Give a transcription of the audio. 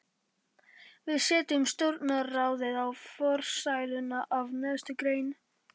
Við setjum stjórnarráðið í forsæluna af neðstu grein.